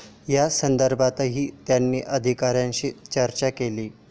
या संदर्भातही त्यांनी अधिकाऱ्यांशी चर्चा केली.